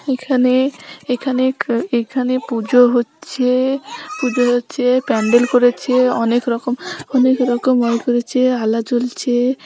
এখানে এখানে এখানে পুজো হচ্ছে-এ পুজো হচ্ছে। প্যান্ডেল করেছে অনেক রকম অনেক রকম ওয়াল করেছে আলা জ্বলছে।